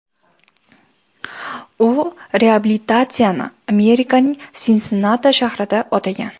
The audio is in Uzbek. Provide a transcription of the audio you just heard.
U reabilitatsiyani Armerikaning Sinsinnati shahrida o‘tagan.